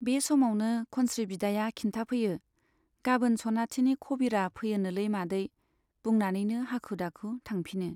बे समावनो खनस्री बिदाया खिन्थाफैयो , गाबोन सनाथिनि खबिरा फैयोनोलै मादै बुंनानैनो हाखु दाखु थांफिनो।